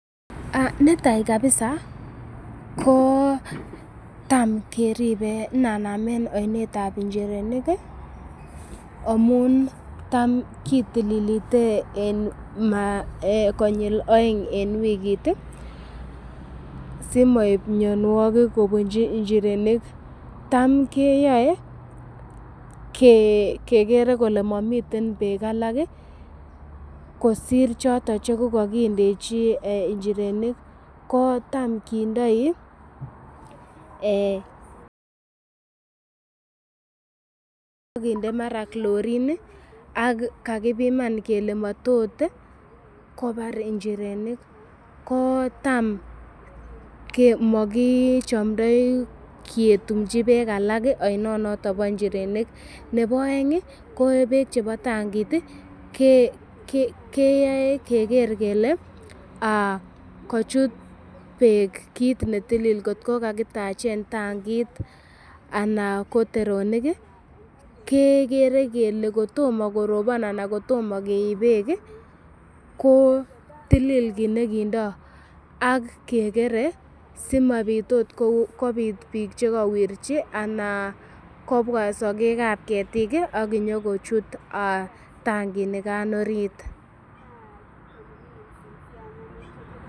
Netai kabsa ko tam keripe inanaamen oinet ab injirenik amun tam kitililite konyil oeng en wikit simoib mianwogik kobunchi injirenik. Tam keyoe kegere kole momiten beek alak kosir choton che kogakindechi injirenik ko tam kindoi ak kinde mara chlorine ak kagipiman kele motot kobar injirenik. Ko tam komogichomdoi ketumchi beek alak oinonoton bo injirenik. Nebo oeng ko beek che bo tangit, kyoe keger kele kochut beek kiit ne tilil kot ko kagitachen tangit ana ko teronik kegere kele kotomo korobon ana kotom keib beek ko tilil kit ne kindo, ak kegere simabit ot kobit biik che kowirchi ana kobwa sogek ab ketik ak inyokochut tanginikan orit.